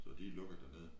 Så de lukket dernede